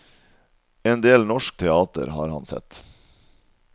En del norsk teater har han sett.